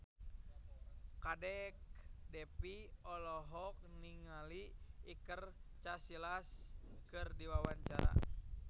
Kadek Devi olohok ningali Iker Casillas keur diwawancara